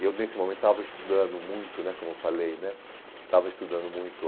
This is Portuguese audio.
Eu, nesse momento, estava estudando muito né, como eu falei né, estava estudando muito